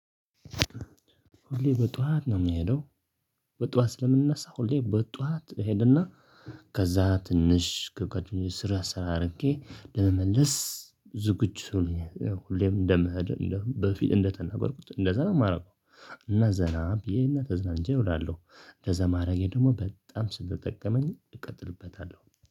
ሁሌ በጧዋት ነው የምሄደው። በጧዋት ስለምንነሳ ሁሌ በጧዋት እሄደና። ከዛ ትንሽ ከጋደኛ ሰራ ስር አርጌ ለመመለስ ዝግጁ። ሁሌም እንደምህድ በፊት እንደተናገርኩት እንደዛ ነው የማደርገው። እና ዘና ብዬ እና ተዝናንቼ እውላለሁ። እንደዛ ማረጌ ደግሞ በጣም ስለጠቀመኝ እቀጥልበታለሁ